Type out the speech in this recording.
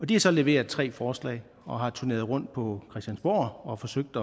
de har så leveret tre forslag og har turneret rundt på christiansborg og har forsøgt